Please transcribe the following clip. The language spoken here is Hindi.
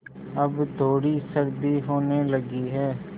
अब थोड़ी सर्दी होने लगी है